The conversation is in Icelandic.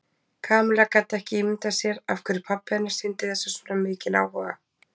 Kamilla gat ekki ímyndað sér af hverju pabbi hennar sýndi þessu svona mikinn áhuga.